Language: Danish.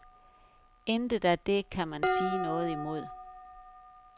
Intet af det kan man sige noget imod.